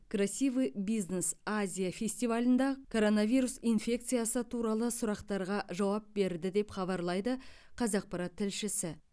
красивый бизнес азия фестивалінде коронавирус инфекциясы туралы сұрақтарға жауап берді деп хабарлайды қазақпарат тілшісі